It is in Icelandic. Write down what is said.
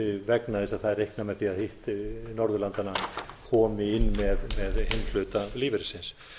vegna þess að það er reiknað með að hitt norðurlandanna komi inn með hinn hluta lífeyrisins